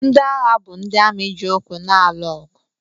Ndị agha bụ ndị amị ji ụkwụ na-alụ ọgụ.